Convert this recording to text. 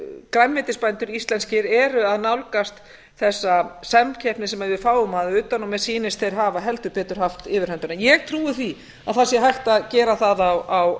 grænmetisbændur íslenskir eru að nálgast þessa samkeppni sem við fáum að utan og mér sýnist þeir hafa heldur betur haft yfirhöndina ég trúi því að það sé hægt að gera það á